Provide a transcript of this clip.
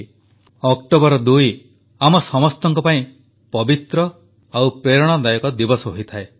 2 October ଆମ ସମସ୍ତଙ୍କ ପାଇଁ ପବିତ୍ର ଓ ପ୍ରେରଣାଦାୟକ ଦିବସ ହୋଇଥାଏ